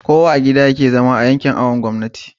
koya a gida yake zama a yankin awon gomnati